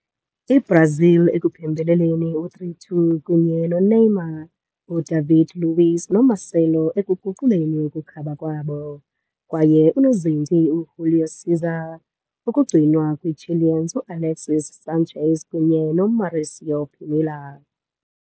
Brazil ekuphembeleleni 3-2, kunye Neymar, Udavide Luiz kwaye Marcelo ekuguquleni ukukhaba kwabo, kwaye unozintsi Júlio César kugcinwa kwi Chileans Alexis Sánchez kwaye Mauricio Pinilla.